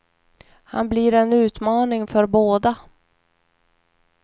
Han blir en utmaning för båda.